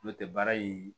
N'o tɛ baara in